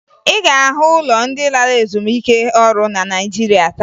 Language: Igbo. Ị ga-ahụ ụlọ ndị lara ezumike ọrụ na Naịjirịa taa